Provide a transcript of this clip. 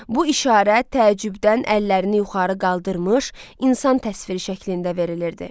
Bu işarə təəccübdən əllərini yuxarı qaldırmış insan təsviri şəklində verilirdi.